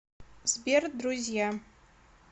сбер друзья